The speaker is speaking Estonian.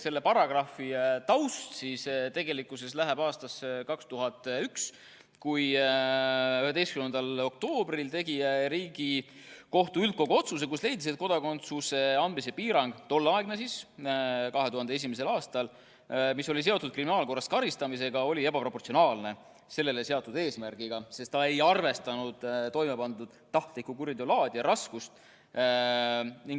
Selle paragrahvi taust ulatub aastasse 2001, kui 11. oktoobril tegi Riigikohtu üldkogu otsuse, millega leidis, et tolleaegne kodakondsuse andmise piirang, mis oli seotud kriminaalkorras karistamisega, oli ebaproportsionaalne seatud eesmärgiga, sest see ei arvestanud toimepandud tahtliku kuriteo laadi ja raskust.